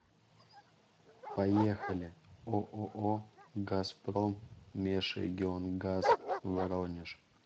поехали ооо газпром межрегионгаз воронеж